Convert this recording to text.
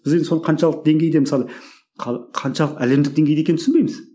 біз енді соны қаншалықты деңгейде мысалы қаншалық әлемдік деңгейде екенін түсінбейміз